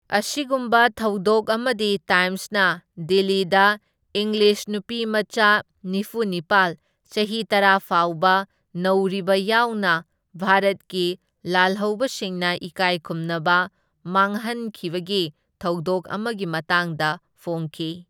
ꯑꯁꯤꯒꯨꯝꯕ ꯊꯧꯗꯣꯛ ꯑꯃꯗꯤ ꯇꯥꯏꯝꯁꯅ ꯗꯤꯜꯂꯤꯗ ꯏꯪꯂꯤꯁ ꯅꯨꯄꯤꯃꯆꯥ ꯅꯤꯐꯨꯅꯤꯄꯥꯜ, ꯆꯍꯤ ꯇꯔꯥ ꯐꯥꯎꯕ ꯅꯧꯔꯤꯕ ꯌꯥꯎꯅ ꯚꯥꯔꯠꯀꯤ ꯂꯥꯜꯍꯧꯕꯁꯤꯡꯅ ꯏꯀꯥꯏ ꯈꯨꯝꯅꯕ ꯃꯥꯡꯍꯟꯈꯤꯕꯒꯤ ꯊꯧꯗꯣꯛ ꯑꯃꯒꯤ ꯃꯇꯥꯡꯗ ꯐꯣꯡꯈꯤ꯫